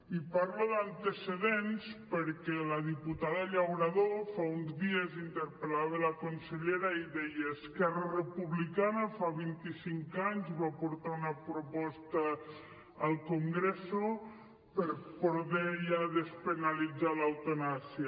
i parlo d’antecedents perquè la diputada llauradó fa uns dies interpel·lava la consellera i deia esquerra republicana fa vint i cinc anys va portar una proposta al congreso per poder ja despenalitzar l’eutanàsia